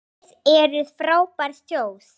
Þið eruð frábær þjóð!